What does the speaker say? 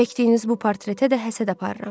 Çəkdiyiniz bu portretə də həsəd aparıram.